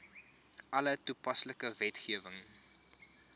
alle toepaslike wetgewing